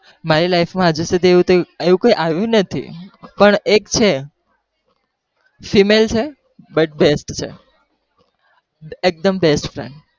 મારી life માં હજી સુધી એવું કોઈ આવ્યું નથી, પણ એક છે female છે પણ best છે એકદમ best friend